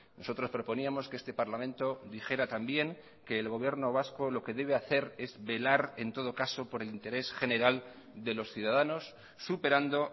nosotros proponíamos que este parlamento dijera también que el gobierno vasco lo que debe hacer es velar en todo caso por el interés general de los ciudadanos superando